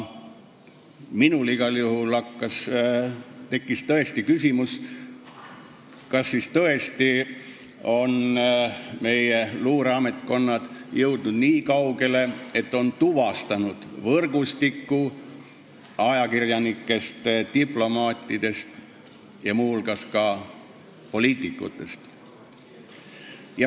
Minul tekkis igal juhul küsimus, kas tõesti on meie luureametkonnad jõudnud nii kaugele, et on tuvastanud võrgustiku, mis koosneb ajakirjanikest, diplomaatidest ja muu hulgas ka poliitikutest.